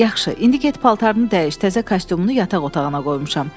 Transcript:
Yaxşı, indi get paltarını dəyiş, təzə kostyumunu yataq otağına qoymuşam.